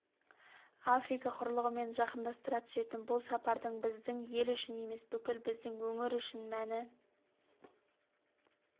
африка құрлығымен жақындастыра түсетін бұл сапардың біздің ел үшін емес бүкіл біздің өңір үшін мәні